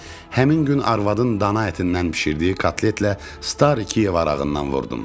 Həmin gün arvadın dana ətindən bişirdiyi kotletlə "Stariy Kiyev" arağından vurdum.